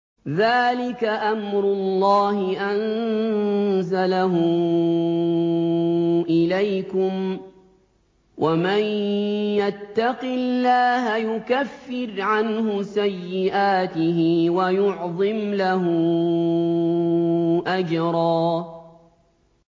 ذَٰلِكَ أَمْرُ اللَّهِ أَنزَلَهُ إِلَيْكُمْ ۚ وَمَن يَتَّقِ اللَّهَ يُكَفِّرْ عَنْهُ سَيِّئَاتِهِ وَيُعْظِمْ لَهُ أَجْرًا